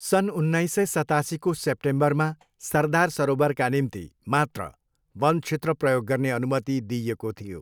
सन् उन्नाइस सय सतासीको सेप्टेम्बरमा सरदार सरोवरका निम्ति मात्र वन क्षेत्र प्रयोग गर्ने अनुमति दिइएको थियो।